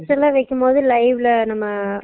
test எல்லாம் வெக்கம்போது live ல நம்ம